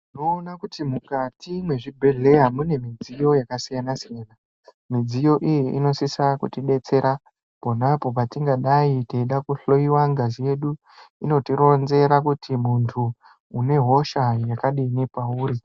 Tinoona kuti mukati mezvibhedhlera mune midziyo yakasiyana siyana midziyo iyo inosisa kuti detsera pona apo patingadai kuhloiwa ngazi yedu inotironzera kuti muntu une hosha yakadini pauri.